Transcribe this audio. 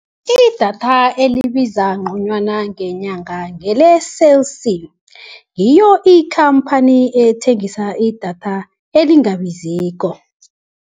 Idatha elibiza ngconywana ngenyanga ngele-Cell C ngiyo ikhamphani ethengisa idatha elingabiziko.